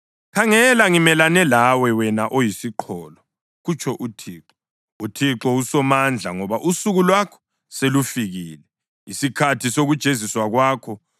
“Khangela, ngimelane lawe, wena oyisiqholo,” kutsho uThixo, uThixo uSomandla, “ngoba usuku lwakho selufikile, isikhathi sokujeziswa kwakho.